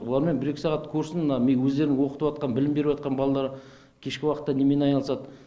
олармен бір екі сағат көрсін мына міне өздері оқып жатқан білім беріп жатқан балалар кешкі уақытта немен айналысады